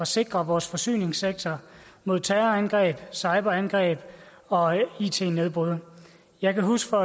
sikre vores forsyningssektor mod terrorangreb cyberangreb og it nedbrud jeg kan huske